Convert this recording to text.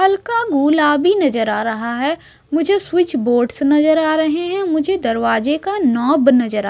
हल्का गुलाबी नजर आ रहा है मुझे स्विच बोर्ड्स नजर आ रहे हैं मुझे दरवाजे का नॉब नजर आ--